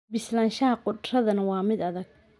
Bislaanshaha khudraddan waa mid adag.